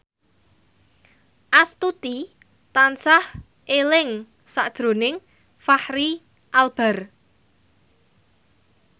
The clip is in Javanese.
Astuti tansah eling sakjroning Fachri Albar